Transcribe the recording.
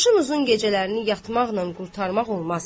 qışın uzun gecələrini yatmaqla qurtarmaq olmaz.